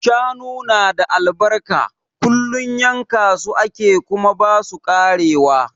Shanu na da albarka, kullum yanka su ake kuma ba su karewa.